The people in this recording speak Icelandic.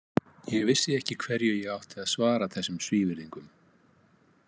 Ég vissi ekki hverju ég átti að svara þessum svívirðingum.